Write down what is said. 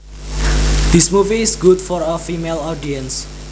This movie is good for a female audience